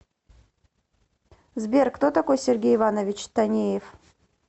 сбер кто такой сергей иванович танеев